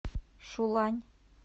шулань